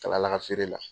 Kala laban feere la